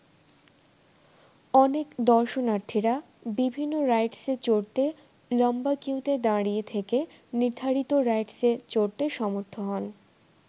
অনেক দর্শনার্থীরা বিভিন্ন রাইডসে চড়তে লম্বা কিউতে দাঁড়িয়ে থেকে নির্ধারিত রাইডসে চড়তে সমর্থ হন।